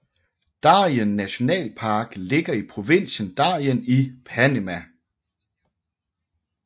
Darien nationalpark ligger i provinsen Darien i Panama